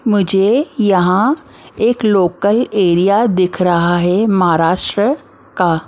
मुझे यहां एक लोकल एरिया दिख रहा है महाराष्ट्र का ।